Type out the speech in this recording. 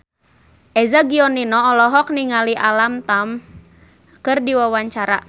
Eza Gionino olohok ningali Alam Tam keur diwawancara